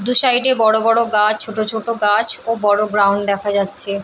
দু সাইড - এ বড় বড় গাছ ছোট ছোট গাছ ও বড় গ্রাউন্ড দেখা যাচ্ছে ।